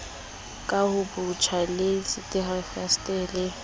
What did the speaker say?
kahobotjha le ntshetspele le ho